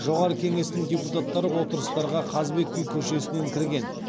жоғары кеңестің депутаттары отырыстарға қазыбек би көшесінен кірген